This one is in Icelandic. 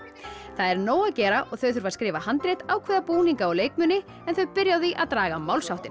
það er nóg að gera og þau þurfa að skrifa handrit ákveða búninga og leikmuni en þau byrja á því að draga málsháttinn